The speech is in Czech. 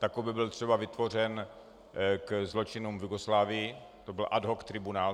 Takto byl třeba vytvořen ke zločinům v Jugoslávii, to byl ad hoc tribunál.